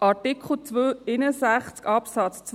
Artikel 261 Absatz 2: